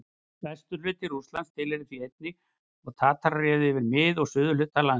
Vesturhluti Rússlands tilheyrði því einnig, en Tatarar réðu yfir mið- og suðurhluta landsins.